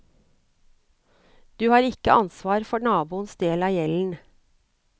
Du har ikke ansvar for naboens del av gjelden.